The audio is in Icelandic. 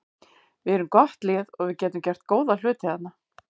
Við erum gott lið og við getum gert góða hluti þarna.